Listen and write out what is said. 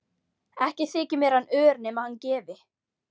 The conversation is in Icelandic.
Ekki þyki mér hann ör nema hann gefi.